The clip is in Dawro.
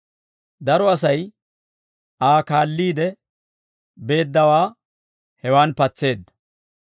Daro Asay Aa kaalliide beeddawaa hewaan patseedda.